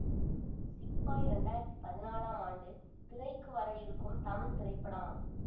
சிப்பாய் இரண்டு ஆயிரத்தி பதினான்காம் ஆண்டு திரைக்கு வர இருக்கும் தமிழ் திரைப்படம்